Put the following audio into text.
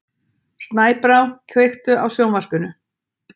Snæbrá, kveiktu á sjónvarpinu.